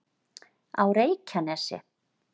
á reykjanesi